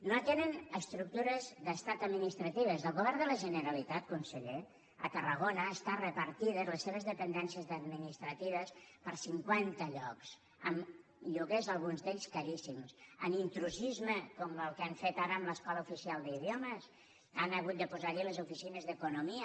no atenen estructures d’estat administratives el govern de la generalitat conseller a tarragona estan repartides les seves dependències administratives per cinquanta llocs amb lloguers alguns d’ells caríssims amb intrusisme com el que han fet ara amb l’escola oficial d’idiomes han hagut de posar allí les oficines d’economia